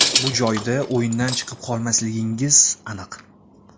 Bu joyda o‘yindan chiqib qolmasligingiz aniq.